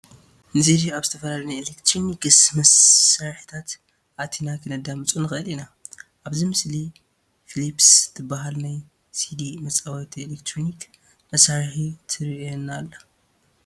ንሲዲ ኣብ ዝተፈላለዩ ናይ ኤለክትሮኒክስ መሳርሕታት ኣእቲና ክነድምፆ ንኽእል ኢና፡፡ ኣብዚ ምስሊ ፊሊፕስ ትበሃል ናይ ሲዲ መፃወቲ ኤለክትሮኒክ መሳርሒ ትርአየና ኣላ፡፡